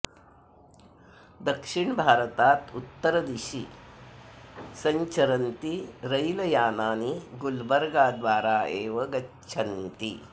दक्षिणभारतात् उत्तरदिशि सञ्चरन्ति रैल् यानानि गुल्बर्गाद्वारा एव गच्छन्ति